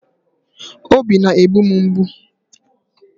Obi na-egbu m mgbu.